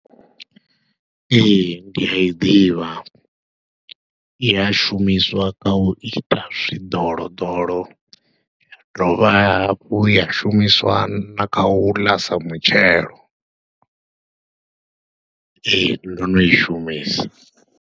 Ee, ndi a i ḓivha, i a shumiswa kha u ita zwiḓoloḓolo, ya dovha hafhu ya shumiswa na kha u ḽa sa mutshelo, ee ndo no i shumisa.